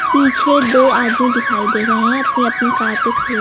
पीछे दो आदमी दिखाई दे रहे हैं अपनी अपनी कार पे खड़े--